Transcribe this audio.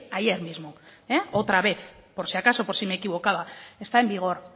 ayer mismo otra vez por si acaso por si me equivocaba está en vigor